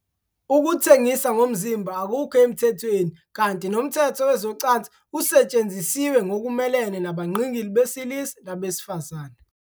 Ukuthengisa ngomzimba akukho emthethweni kanti nomthetho wezocansi usetshenzisiwe ngokumelene nabangqingili besilisa nabesifazane.